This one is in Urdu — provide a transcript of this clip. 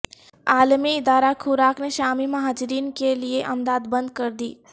عالمی ادارہ خوراک نے شامی مہاجرین کے لیے امداد بند کر دی